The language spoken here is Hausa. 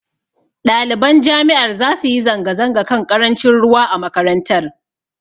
Ɗaliban jami'ar zasu yi zanga-zanga kan ƙarancin ruwa a makarantar.